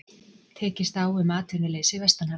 Tekist á um atvinnuleysi vestanhafs